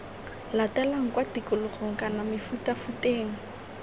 latelang kwa tikologong kana mefutafuteng